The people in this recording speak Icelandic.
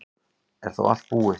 Er þá allt búið?